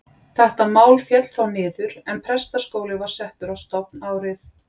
Þetta mál féll þá niður, en prestaskóli var settur á stofn árið